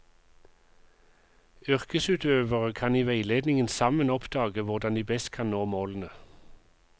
Yrkesutøverne kan i veiledningen sammen oppdage hvordan de best kan nå målene.